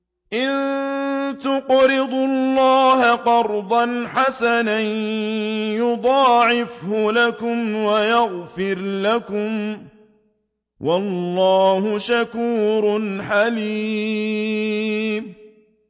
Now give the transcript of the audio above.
إِن تُقْرِضُوا اللَّهَ قَرْضًا حَسَنًا يُضَاعِفْهُ لَكُمْ وَيَغْفِرْ لَكُمْ ۚ وَاللَّهُ شَكُورٌ حَلِيمٌ